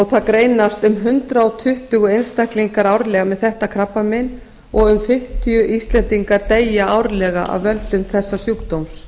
það greinast um hundrað tuttugu einstaklingar árlega með þetta krabbamein og um fimmtíu íslendingar deyja árlega af völdum þessa sjúkdóms